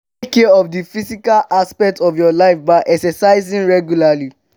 take care of di physical aspect of your life by exercising regularly